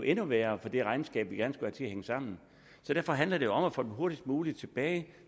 endnu værre for det regnskab vi gerne skulle have til at hænge sammen derfor handler det om at få dem hurtigst muligt tilbage